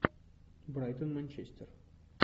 брайтон манчестер